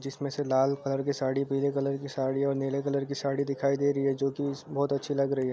जिसमे से लाल कलर की साड़ी पीले कलर की साड़ी और नीले कलर की साड़ी दिखाई दे रही है जोकि इस बहुत अच्छी लग रही है।